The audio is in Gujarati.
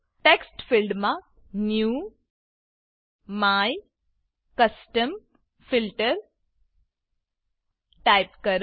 ટેક્સ્ટ ફીલ્ડમાં ન્યૂ MyCustomFilter ટાઈપ કરો